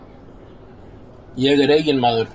Ég er eignamaður.